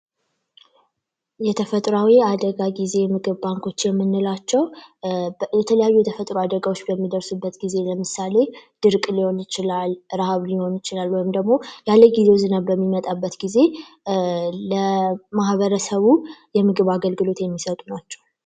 የተፈጥሮአዊ ጊዜ ምግብ ባንኮች የምንላቸው የተለያዩ የተፈጥሮ አደጋዎች በሚደርሱበት ጊዜ ለምሳሌ ድርቅ ሊሆን ይችላል ፣ረሀብ ሊሆን ይችላል እንዲሁም ደግሞ ያለጊዜው ዝናብ በሚመጣበት ጊዜ ለማህበረሰቡ የምግብ አገልግሎት የሚሰጡ ናቸው።